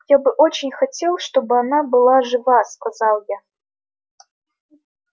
я бы очень хотел чтобы она была жива сказал я